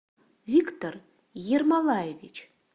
виктор ермолаевич